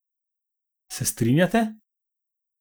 Se strinjate?